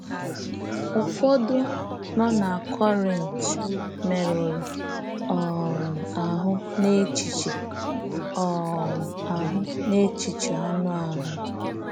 Ụfọdụ nọ na Kọrint merụrụ um ahụ n’echiche um ahụ n’echiche anụ ahụ.